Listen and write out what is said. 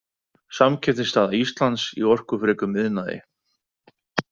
„Samkeppnisstaða Íslands í orkufrekum iðnaði“.